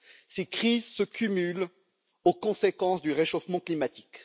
Ces crises se cumulent aux conséquences du réchauffement climatique.